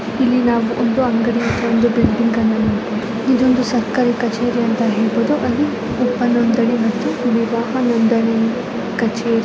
ಇಲ್ಲಿ ನಾವು ಒಂದು ಅಂಗಡಿಯನ್ನ ಒಂದು ಬಿಲ್ಡಿಂಗ್ ನೋಡಬಹುದು ಇದೊಂದು ಸರ್ಕಾರ ಕಚೇರಿ ಅಂತ ಹೇಳ್ಬಹುದು ವಿವಾಹ ನೋಂದಣಿ ಕಚೇರಿ.